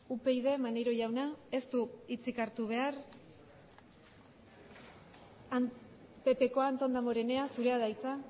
upyd maneiro jauna ez du hitzik hartu behar pp koa anton danborenea zurea da hitza